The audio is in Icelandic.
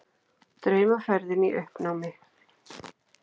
Draumaferðin í uppnámi